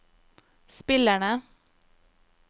spillerne